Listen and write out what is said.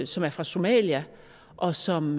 som er fra somalia og som